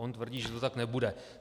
On tvrdí, že to tak nebude.